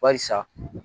Barisa